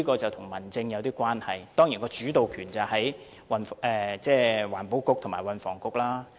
這是跟民政有點關係的，而當然，主導權在環境局和運輸及房屋局。